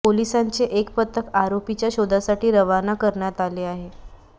पोलिसांचे एक पथक आरोपीच्या शोधासाठी रवाना करण्यात आले आहे